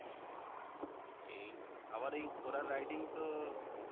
এই আবার এই ঘোড়ার riding তো